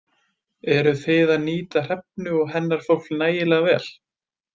Eruð þið að nýta Hrefnu og hennar fólk nægilega vel?